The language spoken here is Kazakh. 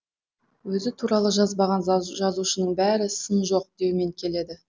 өзі туралы жазбаған жазушының бәрі сын жоқ деумен келеді